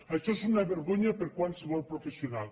això és una vergonya per a qualsevol professional